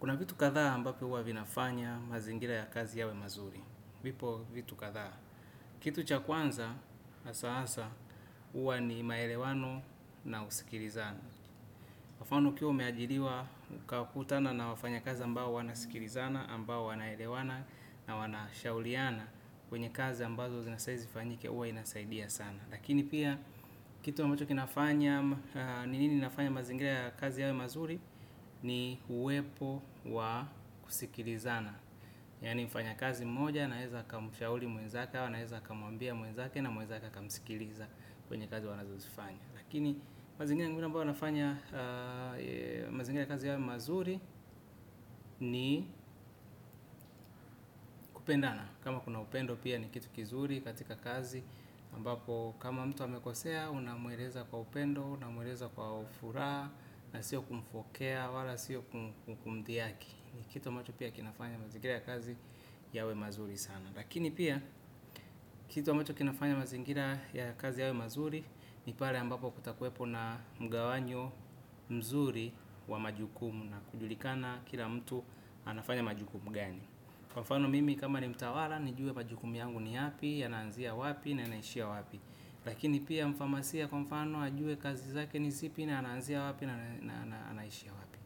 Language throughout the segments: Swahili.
Kuna vitu kathaa ambapio huwa vinafanya mazingira ya kazi yawe mazuri. Vipo vitu kathaa? Kitu cha kwanza, asa asa, uwa ni maelewano na usikilizana. Kwa mfano ukiwa umeajiriwa ukakutana na wafanyakazi ambao wanasikilizana, ambao wanaelewana na wanashauliana. Kwenye kazi ambazo zinastahili zifanyike uwa inasaidia sana. Lakini pia kitu ambacho kinafanya, ni nini inafanya mazingira ya kazi yawe mazuri ni uwepo wa kusikilizana. Yani mfanyakazi mmoja anaeza akamshauli mwenzake au anaeza akamwambia mwenzake na mwenzake akamsikiliza kwenye kazi wanazozifanya. Lakini mazingira ya kazi yawe mazuri ni kupendana. Kama kuna upendo pia ni kitu kizuri katika kazi aMbapo kama mtu amekosea, unamueleza kwa upendo, unamueleza kwa ufuraha. Na sio kumfokea, wala sio kumdhiyaki. Ni kitu mtu pia kinafanya mazingira ya kazi yawe mazuri sana. Lakini pia, kitu mtu kinafanya mazingira ya kazi yawe mazuri. Ni pale ambapo kutakuepo na mgawanyo mzuri wa majukumu. Na kujulikana kila mtu anafanya majukumu gani. Kwa mfano mimi kama ni mtawala, nijue majukumu yangu ni yapi, yanaanzia wapi, na yanaishia wapi. Lakini pia mfamasia kwa mfano, ajue kazi zake ni zipi, na anaanzia wapi, na anaishia wapi.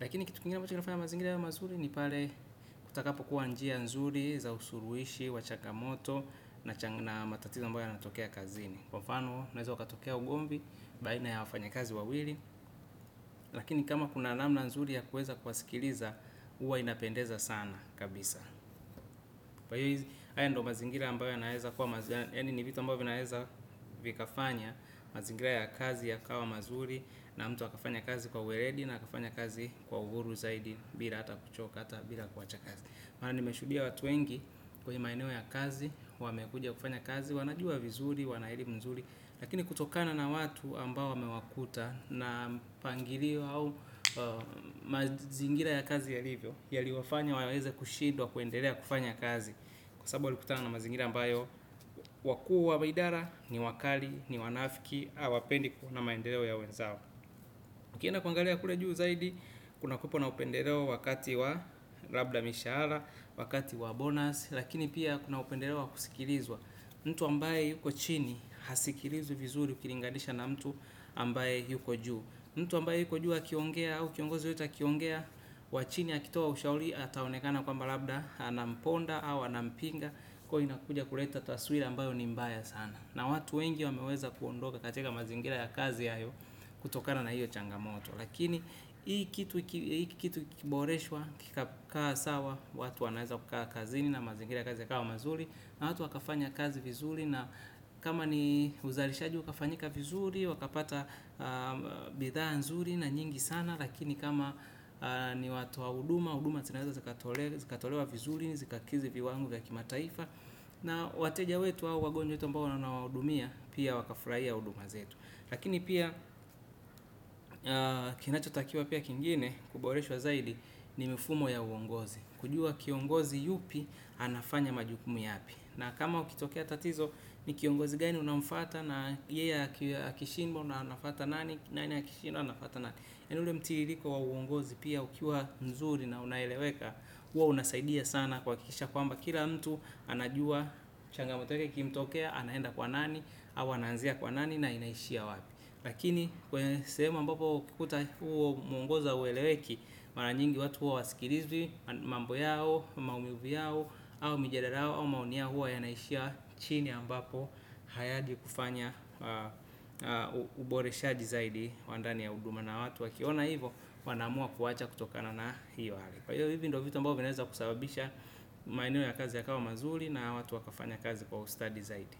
Lakini kitu kingine ambacho kinafaya mazingira yawe mazuri, ni pale kutakapo kuwa njia nzuri, za usuruishi, wa chakamoto, na matatizo ambayo yanatokea kazini. Kwa mfano, unaeza ukatokea ugomvi, baina ya wafanyakazi wawili. Lakini kama kuna namna nzuri ya kueza kuwasikiliza, huwa inapendeza sana kabisa, haya ndiyo mazingira ambayo yaani ni vitu ambao zinaweza vikafanya mazingira ya kazi yakawa mazuri na mtu akafanya kazi kwa uweledi akafanya kazi kwa uhuru zaidi bila ata kuchoka ata bila kuacha kazi. Maana nimeshuhudia watu wengi kwenye maeneo ya kazi, wamekujia kufanya kazi, wanajua vizuri, wanahairi mzuri, lakini kutokana na watu ambao wamewakuta na mpangilio hau mazingira ya kazi yalivyo, yaliwafanya waweze kushidwa, kuendelea kufanya kazi. Kwa sababu walikutana na mazingira ambayo wakuu wa maidara ni wakali ni wanafiki awapendi kuona maendeleo ya wenzao. Ukienda kuangalia kule juu zaidi kunakuwepo na upendeleo wakati wa labda mishahara wakati wa bonus. Lakini pia kuna upendeleo wa kusikilizwa mtu ambaye yuko chini hasikilizwi vizuri ukilinganisha na mtu ambaye yuko juu mtu ambaye yuko juu akiongea au kiongozi yoyote akiongea wa chini akitoa ushauli ataonekana kwamba labda anamponda au anampinga. Kwa io inakuja kuleta twaswira ambayo ni mbaya sana. Na watu wengi wameweza kuondoka katika mazingira ya kazi hayo. Kutokana na hiyo changamoto lakini hii kitu kikiboreswa kikakaa sawa. Watu wanaweza kukaa kazini na mazingira ya kazi ya kawa mazuli. Na watu wakafanya kazi vizuli. Na kama ni uzalishaji ukafanyika vizuli. Wakapata bidhaa nzuli na nyingi sana. Lakini kama ni watu wa huduma uduma zinaweza zikatolewa vizuli, zikakizi viwango vya kimataifa. Na wateja wetu au wagonjwa wetu ambao wanawahudumia pia wakafraia huduma zetu. Lakini pia kinachotakiwa pia kingine kuboreshwa zaidi ni mifumo ya uongozi. Kujua kiongozi yupi anafanya majukumu yapi. Na kama kukitokea tatizo ni kiongozi gani unamfata. Na yeye akishimbo na anafata nani, nani akishindwa anafata nani yani ule mtiriliko wa uongozi pia ukiwa mzuri na unaeleweka. Huwa unasaidia sana kuhakikisha kwamba kila mtu anajua. Changamoto yoyote ikimtokea anaenda kwa nani. Au anaanzia kwa nani na inaishia wapi. Lakini kwenye sehemu ambapo ukikuta huo muongoza haueleweki. Mara nyingi watu huwa hawasikilizwi mambo yao, maumivu yao au mijadala yao au maoni yao huwa yanaishia chini ambapo hayaji kufanya uboreshaji zaidi wa ndani ya huduma na watu wakiona hivo. Wanaamua kuwacha kutokana na hiyo hali. Kwa hivyo hivi ndo vitu ambao vinaeza kusababisha maeneo ya kazi yakawa mazuli na watu wakafanya kazi kwa ustadi zaidi.